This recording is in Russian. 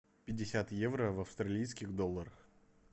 пятьдесят евро в австралийских долларах